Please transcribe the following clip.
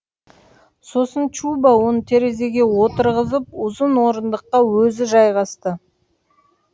сосын чубо оны терезеге отырғызып ұзын орындыққа өзі жайғасты